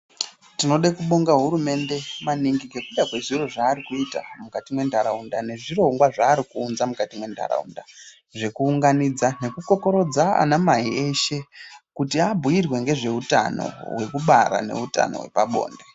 Tinode kubonga hurumende maningi ngekuda zvezviro zvaari kuita mukati mwentaraunda nezvirongwa zvaari kuunza mukati mwentaraunda, zvekuunganidza nekukokorodza anamai eshe, kuti abhuirwe ngezveutano hwekubara neutano hwepabonde .